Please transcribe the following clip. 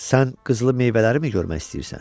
Sən qızılı meyvələri mi görmək istəyirsən?